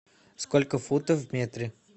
сколько футов в метре